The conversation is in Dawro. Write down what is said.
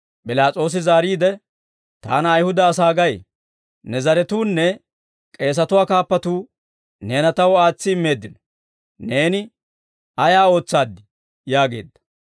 P'ilaas'oosi zaariide, «Taana Ayihuda asaa gay? Ne zaratuunne k'eesatuwaa kaappatuu neena taw aatsi immeeddino; neeni ayaa ootsaaddii?» yaageedda.